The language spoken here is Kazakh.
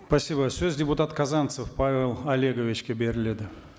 спасибо сөз депутат казанцев павел олеговичке беріледі